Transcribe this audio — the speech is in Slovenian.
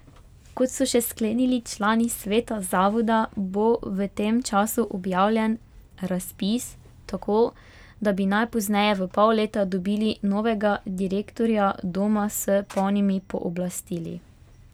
Kot so še sklenili člani sveta zavoda, bo v tem času objavljen razpis, tako da bi najpozneje v pol leta dobili novega direktorja doma s polnimi pooblastili.